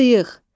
Sıyıq.